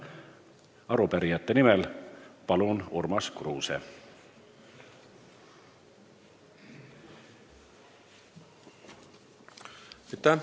Arupärijate nimel Urmas Kruuse, palun!